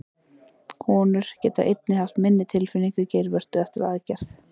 Konur geta einnig haft minni tilfinningu í geirvörtu eftir aðgerð.